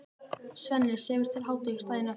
Svenni sefur til hádegis daginn eftir.